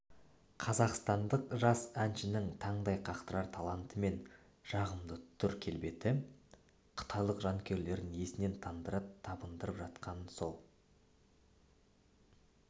қазақстандық жас әншінің таңдай қақтырар таланты мен жағымды түр-келбеті қытайлық жанкүйерлерін есінен тандыра табындырып жатқанын сол